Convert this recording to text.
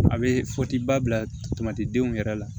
A bɛ fɔtiba bila tamati denw yɛrɛ la